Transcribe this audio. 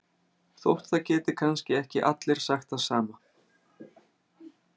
Þótt það geti kannski ekki allir sagt það sama